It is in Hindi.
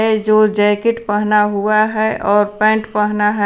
जो जैकेट पहना हुआ है और पेंट पहनना है।